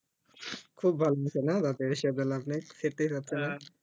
খুব ভালো হয়েছে না লাভ নাই সেইটাই কথা